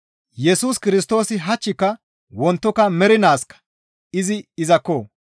Yesus Kirstoosi hachchika wontoka mernaaskka izi izakko!